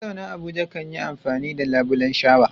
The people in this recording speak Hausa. Mazauna Abuja kan yi amfani da labulen shawa.